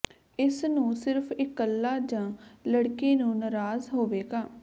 ਇਸ ਨੂੰ ਸਿਰਫ਼ ਇਕੱਲਾ ਜ ਲੜਕੀ ਨੂੰ ਨਾਰਾਜ਼ ਹੋਵੇਗਾ